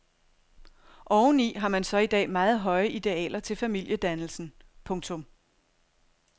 Oveni har man så i dag meget høje idealer til familiedannelsen. punktum